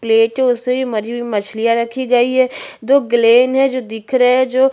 प्लेटो है उसमे मरी हुई मछलियाँ रखी गयी है जो ग्लैन हे जो दिख रहे है जो--